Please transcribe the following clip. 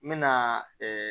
N mɛna